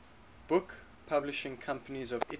book publishing companies of italy